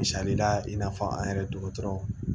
Misali la i n'a fɔ an yɛrɛ dɔgɔtɔrɔw